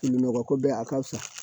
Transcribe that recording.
Nɔgɔ ko bɛɛ a ka fisa